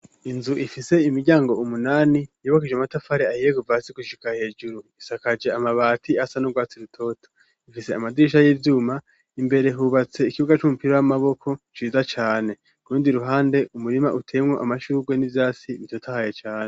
Inzu ifise imiryango umunani yubakije amatafari ahiye, kuvasi gushika hejuru ,isakaje Amabati asa n'urwatsi rutoto ,ifise amadirisha y'ivyuma, imbere hubatse ikibuga c'umupira w'amaboko, ciza cane, ku rundi ruhande umurima utewemwo amashurwe n'ivyasi bitotahaye cane.